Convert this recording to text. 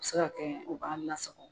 A bi se ka kɛ u b'a lasago